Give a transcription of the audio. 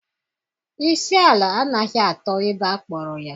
Isi ala anaghị atọ ebe akpọrọ ya